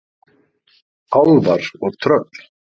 Álfar og tröll.